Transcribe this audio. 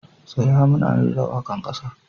Tsaya! muna rera waka'n kasa.